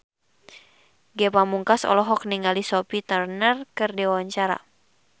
Ge Pamungkas olohok ningali Sophie Turner keur diwawancara